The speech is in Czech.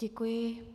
Děkuji.